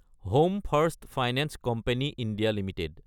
home first finance company India Ltd